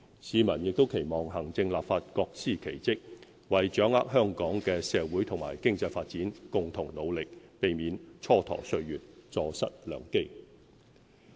市民亦期望行政立法各司其職，為掌握香港的社會和經濟發展共同努力，避免蹉跎歲月、坐失良機。